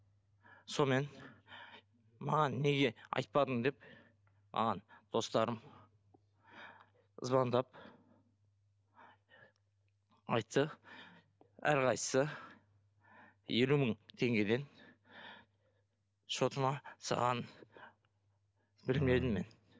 сонымен маған неге айтпадың деп маған достарым звондап айтты әрқайсысы елу мың теңгеден счетыма салғанын білмедім мен